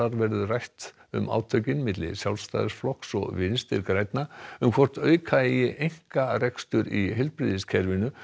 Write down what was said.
verður rætt um átökin milli Sjálfstæðisflokks og Vinstri grænna um hvort auka eigi einkarekstur í heilbrigðiskerfinu